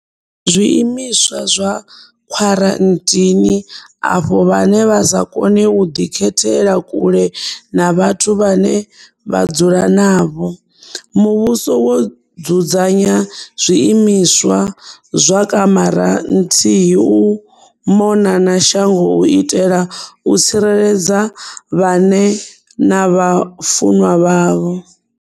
Zwiimiswa zwa Khwaranthini afho vhane vha sa kone u ḓikhethela kule na vhathu vhane vha dzula navho, muvhuso wo dzudzanya zwiimiswa zwa kamara nthini u mona na shango u itela u tsireledza vhane na vhafunwa vhavho.